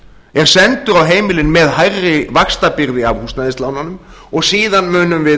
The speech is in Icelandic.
er sendur á heimilin með hærri vaxtabyrði af húsnæðislánunum og síðan munum við